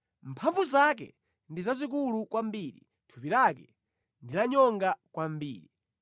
Mphamvu zake ndi zazikulu kwambiri, thupi lake ndi lanyonga kwambiri!